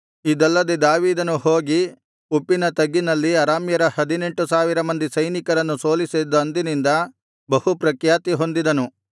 ಇದಲ್ಲದೆ ದಾವೀದನು ಹೋಗಿ ಉಪ್ಪಿನ ತಗ್ಗಿನಲ್ಲಿ ಅರಾಮ್ಯರ ಹದಿನೆಂಟು ಸಾವಿರ ಮಂದಿ ಸೈನಿಕರನ್ನು ಸೋಲಿಸಿದಂದಿನಿಂದ ಬಹು ಪ್ರಖ್ಯಾತಿ ಹೊಂದಿದನು